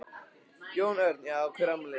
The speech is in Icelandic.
Jón Örn: Já hver á afmæli?